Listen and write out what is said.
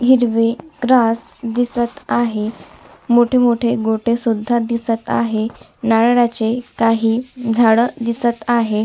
Grass दिसत आहे मोठे मोठे गोटे सुद्धा दिसत आहे नारळाचे काही झाड दिसत आहे.